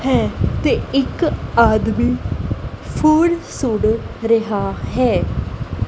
ਤੇ ਇੱਕ ਆਦਮੀ ਫੋਨ ਸੁਣ ਰਿਹਾ ਹੈ।